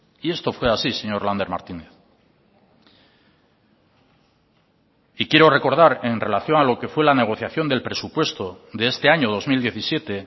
y esto fue así señor lander martínez y quiero recordar en relación a lo que fue la negociación del presupuesto de este año dos mil diecisiete